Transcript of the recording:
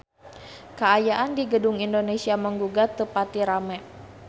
Kaayaan di Gedung Indonesia Menggugat teu pati rame